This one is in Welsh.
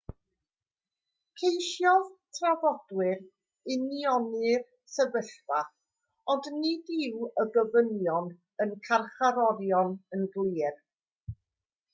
ceisiodd trafodwyr unioni'r sefyllfa ond nid yw gofynion y carcharorion yn glir